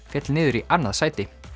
féll niður í annað sæti